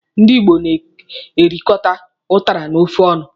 Ndị Igbo na-erikọta ụtara na ofe ọnụ.